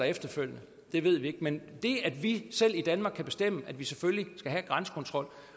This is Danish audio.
efterfølgende det ved vi ikke men det at vi selv i danmark kan bestemme at vi selvfølgelig skal have grænsekontrol